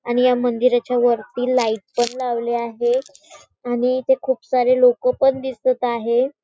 आणि या मंदिराच्या वरती लाईट पण लावले आहे आणि इथे खूप सारे लोक पण दिसत आहे.